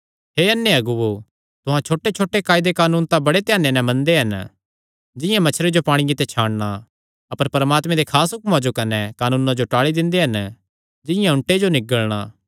हे अन्ने अगुओ तुहां छोटेछोटे कायदे कानून तां बड़े ध्याने नैं मनदे हन जिंआं मच्छरे जो पांणिये ते छानणा अपर परमात्मे दे खास हुक्मां कने कानूना जो टाल़ी दिंदे हन जिंआं ऊँटे जो निगल़णा